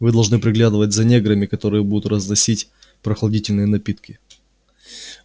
вы должны приглядывать за неграми которые будут разносить прохладительные напитки